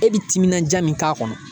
E bi timinanja min k'a kɔnɔ